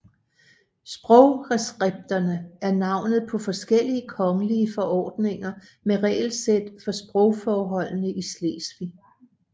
Sprogreskripterne er navnet på forskellige kongelige forordninger med regelsæt for sprogforholdene i Slesvig